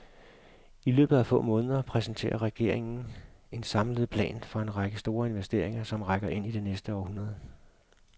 I løbet af få måneder præsenterer regeringen en samlet plan for en række store investeringer, som rækker ind i det næste århundrede.